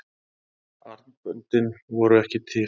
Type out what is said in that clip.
armböndin voru ekki til.